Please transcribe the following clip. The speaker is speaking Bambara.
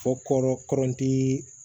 Fɔ kɔrɔti